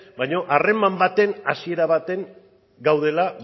baina harreman baten hasiera batean gaudela